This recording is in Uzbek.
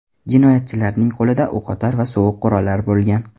Jinoyatchilarning qo‘lida o‘qotar va sovuq qurollar bo‘lgan.